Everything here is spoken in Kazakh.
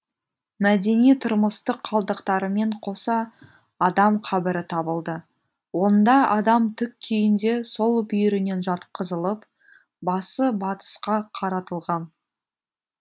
мәдени тұрмыстық қалдықтармен қоса адам қабірі табылды онда адам тік күйінде сол бүйірінен жатқызылып басы батысқа қаратылған